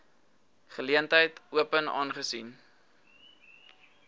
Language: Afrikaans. geleentheid open aangesien